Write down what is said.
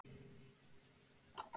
Brúðurin stakk af